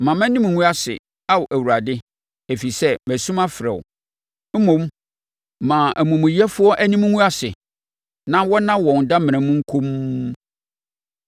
Mma mʼanim ngu ase, Ao Awurade, ɛfiri sɛ masu mafrɛ wo; mmom, ma amumuyɛfoɔ anim ngu ase na wɔnna wɔn damena mu komm.